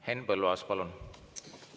Henn Põlluaas, palun!